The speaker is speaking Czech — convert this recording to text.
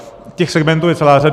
Těch segmentů je celá řada.